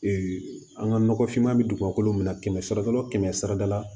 an ka nɔgɔfinma bɛ dugukolo min na kɛmɛ sira la o kɛmɛ sarada la